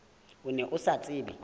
o ne o sa tsebe